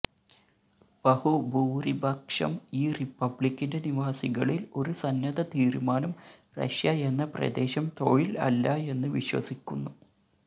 ബഹുഭൂരിപക്ഷം ഈ റിപ്പബ്ലിക്കിന്റെ നിവാസികളിൽ ഒരു സന്നദ്ധ തീരുമാനം റഷ്യ എന്ന പ്രദേശം തൊഴിൽ അല്ല എന്ന് വിശ്വസിക്കുന്നു